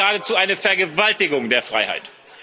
Es ist geradezu eine Vergewaltigung der Freiheit.